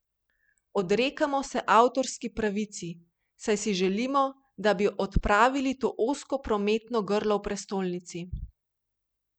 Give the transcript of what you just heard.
Odrekamo se avtorski pravici, saj si želimo, da bi odpravili to ozko prometno grlo v prestolnici.